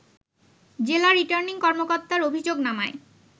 জেলা রিটার্নিং কর্মকর্তার অভিযোগনামায়